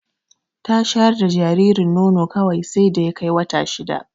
Ta shayar da jaririn nono kawai sai da ya kai wata shida.